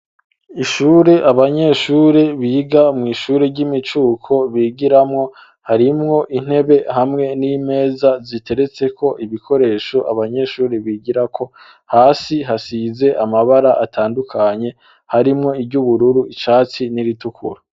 Ishure abanyeshuri biga mw'ishuri ry'imicuko bigiramwo harimwo intebe hamwe n'imeza ziteretse ko ibikoresho abanyeshuri bigira ko hasi hasize amabara atandukanye harimwo iry'ubururu icatsi n'iritukura.